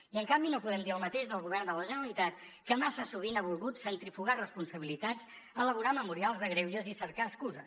i en canvi no podem dir el mateix del govern de la generalitat que massa sovint ha volgut centrifugar responsabilitats elaborar memorials de greuges i cercar excuses